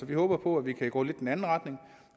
vi håber på at vi kan gå lidt i den anden retning